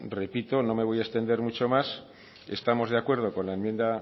repito no me voy a extender mucho más estamos de acuerdo con la enmienda